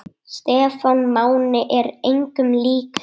Stefán Máni er engum líkur.